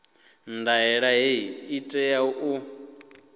ndaela hei i tea u